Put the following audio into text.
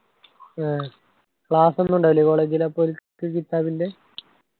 ആഹ് class ഒന്നും ഉണ്ടാകില്ലേ college ലു അപ്പൊ ഒരു ൻ്റെ